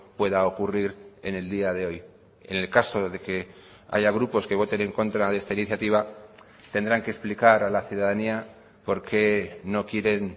pueda ocurrir en el día de hoy en el caso de que haya grupos que voten en contra de esta iniciativa tendrán que explicar a la ciudadanía por qué no quieren